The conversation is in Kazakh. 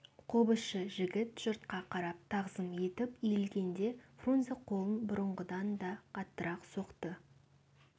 қобызшы жігіт жұртқа қарап тағзым етіп иілгенде фрунзе қолын бұрынғыдан да қаттырақ соқты